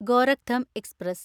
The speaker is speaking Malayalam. ഗോരക്ധം എക്സ്പ്രസ്